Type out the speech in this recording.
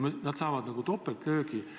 Nad saavad nagu topeltlöögi.